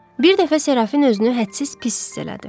Bir dəfə Serafin özünü hədsiz pis hiss elədi.